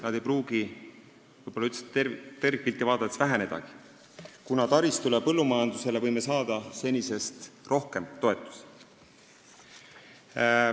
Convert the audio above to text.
Nad ei pruugi tervikpilti vaadates võib-olla üldse vähenedagi, kuna taristu ja põllumajanduse jaoks võime saada senisest rohkem toetusi.